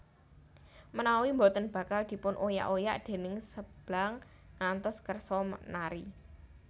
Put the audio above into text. Menawi boten bakal dipun oyak oyak déning Seblang ngantos kersa nari